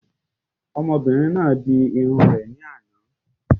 Ọmọbìnrin náà di irun rẹ̀ ní àná